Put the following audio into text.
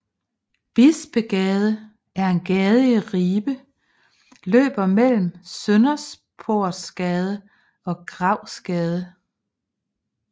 Bispegade er en gade i Ribe løber mellem Sønderportsgade og Gravsgade